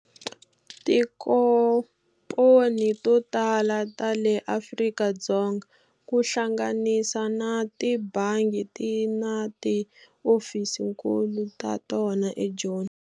Tikomponi to tala ta le Afrika-Dzonga ku hlanganisa na tibangi ti na ti ofisinkulu ta tona eJoni.